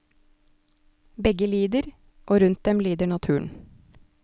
Begge lider, og rundt dem lider naturen.